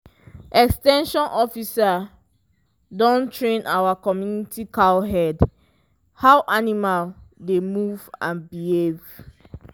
ex ten sion officer don train our community cowherd how animal dey move and behave.